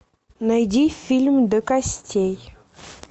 найди фильм до костей